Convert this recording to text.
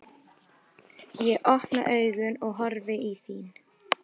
Ég opna augun og horfi í þín.